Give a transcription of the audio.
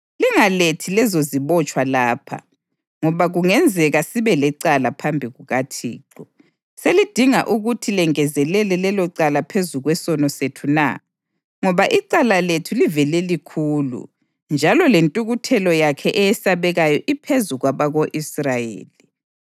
“Lingalethi lezozibotshwa lapha, ngoba kungenzeka sibe lecala phambi kukaThixo. Selidinga ukuthi lengezelele lelocala phezu kwesono sethu na? Ngoba icala lethu livele likhulu, njalo lentukuthelo yakhe eyesabekayo iphezu kwabako-Israyeli.”